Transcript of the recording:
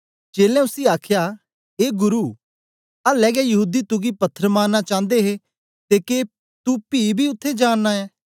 चेलें उसी आखया ए गुरु आल्ले गै यहूदी तुगी पत्थर मारना चांदे हे ते के तू पी बी उत्थें जा नां ऐं